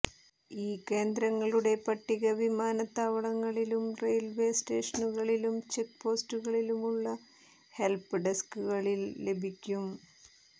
ഈ കേന്ദ്രങ്ങളുടെ പട്ടിക വിമാനത്താവളങ്ങളിലും റെയിൽവേ സ്റ്റേഷനുകളിലും ചെക്ക്പോസ്റ്റുകളിലുമുള്ള ഹെൽപ് ഡെസ്ക്കുകളിൽ ലഭിക്കും